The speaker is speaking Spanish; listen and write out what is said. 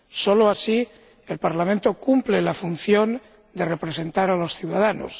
Solo así el Parlamento cumple la función de representar a los ciudadanos.